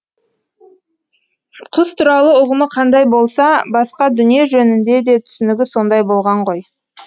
құс туралы ұғымы қандай болса басқа дүние жөнінде де түсінігі сондай болған ғой